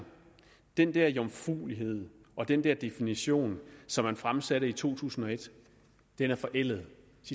den der jomfruelighed og den der definition som man fremsatte i to tusind og et er forældet